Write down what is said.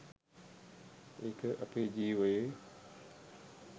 ඒක අපේ ජීවයේ